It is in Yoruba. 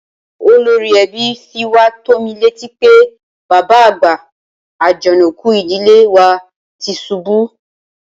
Olórí ẹbí fi wá tó mi létí pé bàbá àgbà, Àjànàkú ìdílé wa ti ṣubú